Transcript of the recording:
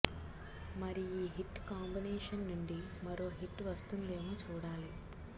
మరి ఈ hit combination నుండి మరో హిట్ వస్తోందేమో చూడాలి